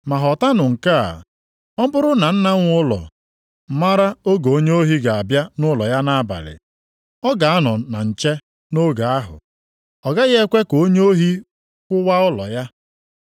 Ma ghọtanụ nke a: Ọ bụrụ na nna nwe ụlọ mara oge onye ohi ga-abịa nʼụlọ ya nʼabalị, ọ ga-anọ na nche nʼoge ahụ. Ọ gaghị ekwe ka onye ohi kụwaa ụlọ ya.